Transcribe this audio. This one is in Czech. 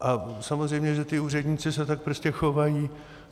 A samozřejmě že ti úředníci se tak prostě chovají.